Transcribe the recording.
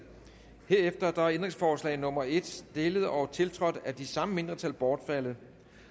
herefter er ændringsforslag nummer en stillet og tiltrådt af de samme mindretal bortfaldet